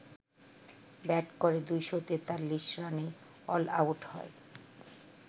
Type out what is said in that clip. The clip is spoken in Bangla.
ব্যাট করে ২৪৩ রানে অলআউট হয়